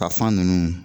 Ka fan ninnu